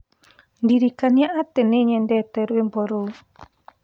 ndirikania ati ni nyendete rwĩmbo ruũ